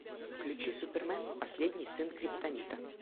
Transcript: включи супермен последний сын криптонита